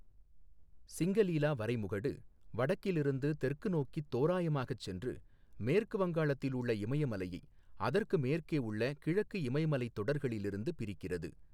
சிங்கலீலா வரைமுகடு வடக்கிலிருந்து தெற்கு நோக்கித் தோராயமாகச் சென்று, மேற்கு வங்காளத்தில் உள்ள இமயமலையை அதற்கு மேற்கே உள்ள கிழக்கு இமயமலைத் தொடர்களிலிருந்து பிரிக்கிறது.